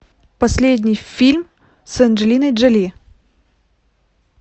последний фильм с анджелиной джоли